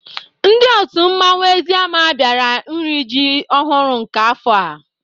Ndị otu mmanwụ Eziama biara n'iri ji ọhụrụ nke afọ a.